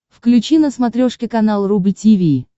включи на смотрешке канал рубль ти ви